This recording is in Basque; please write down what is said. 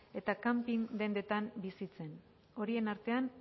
eta kanping dendetan bizitzan horien artean